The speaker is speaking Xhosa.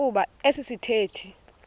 kuba esi sithethe